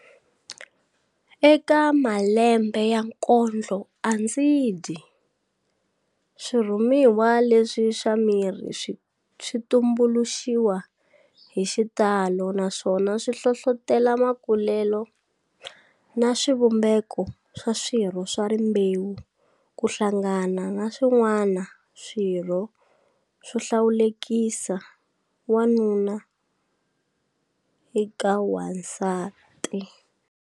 Eka malembe ya kondloandzidyi, swirhumiwa leswi swa miri switumbuluxiwa hi xitalo naswona swi hlohlotela makulele na swivumbeko swa swirho swa rimbewu ku hlanganiso na swin'wana swirho swo hlawulekisa wanuna eka n'wansati.